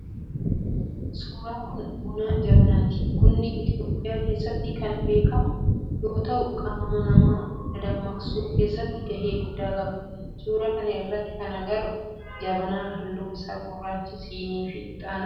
Suuraan kun buna jabanaati. Bunnii itiyoophiyaa keessatti kan beekamuu yoo tahuu qaamaa nama dadammaqsuu keessatti gahee guddaa qaba. Suuraa kana irrattii kan agarru jabanaa halluun isaa gurraacha, sinii fi ixaana.